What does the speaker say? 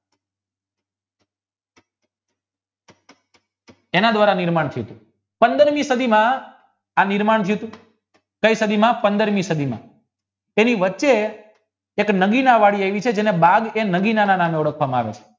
એના દ્વારા નિર્માણ થયું પંદરમી સદડીમાં આ નિર્માણ કયી સદીમાં એની વચ્ચે એક નવીન વળી આવી છે જેને બેગ એ નદીના નામે ઓળખવામાં આવે છે